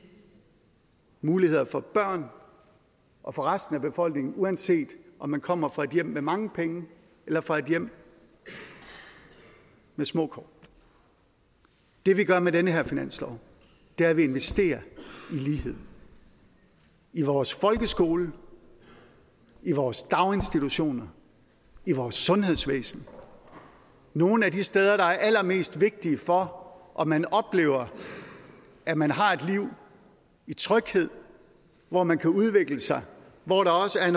muligheder for børn og for resten af befolkningen uanset om man kommer fra et hjem med mange penge eller fra et hjem med små kår det vi gør med den her finanslov er at vi investerer i lighed i vores folkeskole i vores daginstitutioner i vores sundhedsvæsen nogle af de steder der er allermest vigtige for om man oplever at man har et liv i tryghed hvor man kan udvikle sig og hvor der også er